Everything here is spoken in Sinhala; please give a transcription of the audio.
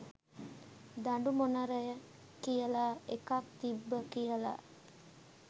දඬු මොනරය කියල එකක් තිබ්බ කියල